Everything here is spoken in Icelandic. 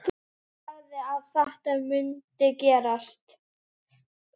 Sagði að þetta mundi gerast.